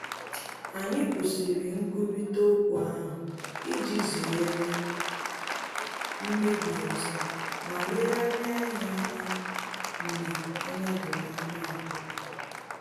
Anyị kwụsịrị nkwurịta okwu ahụ iji zere mmebi ọzọ ma legharịa ya anya mgbe anya doro anyi abuo